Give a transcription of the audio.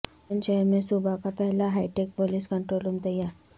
بلند شہر میں صوبہ کا پہلا high tech police control room تیار